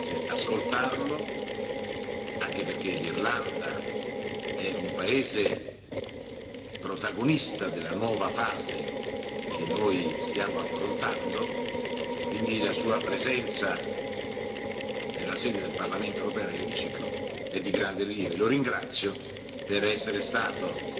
Sarà nostro grande interesse ascoltarlo, anche perché l'Irlanda è un paese protagonista della nuova fase che stiamo affrontando, quindi la sua presenza nella sede del Parlamento europeo e nell'emiciclo è di grande rilievo.